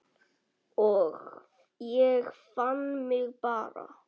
Ég fann mig bara ekki.